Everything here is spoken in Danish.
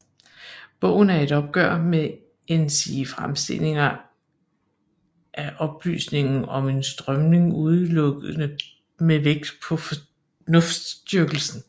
Bogen er et opgør med ensidige fremstillinger af oplysningen som en strømning udelukkende med vægt på fornuftsdyrkelsen